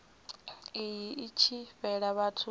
iyi i tshi fhela vhathu